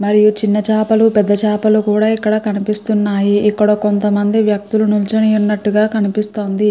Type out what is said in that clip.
మరియు ఇక్కడ చిన్న చేపలు పెద్ద చేపలు కనిపిస్తున్నాయి. ఇక్కడ కొంత మంది వ్యక్తులు నించొని ఉన్నట్టుగా ఎక్కడ కనిపిస్తున్నాయి.